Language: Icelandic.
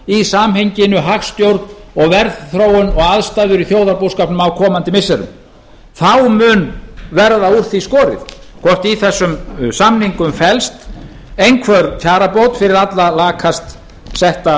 í samhenginu hagstjórn og verðþróun og aðstæður í þjóðarbúskapnum á komandi missirum þá mun verða úr því skorið hvort í þessum samningum felst einhver kjarabót fyrir allra lakast setta